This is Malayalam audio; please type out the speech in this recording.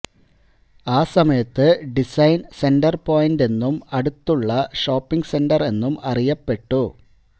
ആ സമയത്ത് ഡിസൈൻ സെന്റർപോയിന്റ് എന്നും അടുത്തുള്ള ഷോപ്പിംഗ് സെന്റർ എന്നും അറിയപ്പെട്ടു